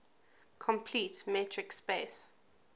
complete metric space